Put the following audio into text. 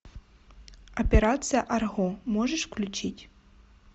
операция арго можешь включить